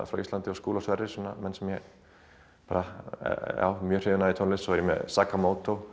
frá Íslandi og Skúla Sverris sem ég er mjög hrifin af í tónlist svo er ég með